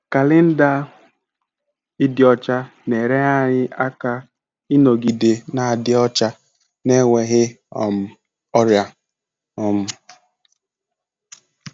Kalenda ịdị ọcha na-enyere anyị aka ịnọgide na-adị ọcha na enweghị um ọrịa. um